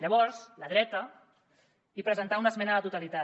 llavors la dreta hi presentà una esmena a la totalitat